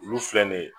Olu filɛ nin ye